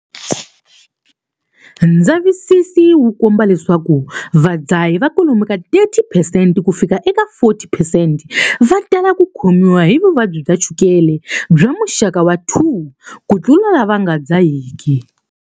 Ndzavisiso wu komba leswaku vadzahi va kwalomu ka 30 percent kufika eka 40 percent va tala ku khomiwa hi vuvabyi bya chukela bya muxaka wa 2 kutlula lava nga dzahiki.